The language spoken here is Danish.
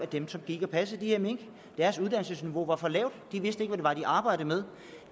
dem der gik og passede de her mink var var for lavt de vidste ikke var de arbejdede med